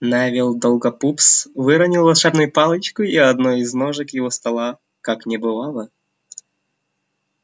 невилл долгопупс выронил волшебную палочку и одной из ножек его стола как не бывало